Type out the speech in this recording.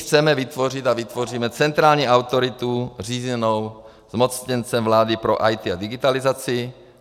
Chceme vytvořit a vytvoříme centrální autoritu řízenou zmocněncem vlády pro IT a digitalizaci.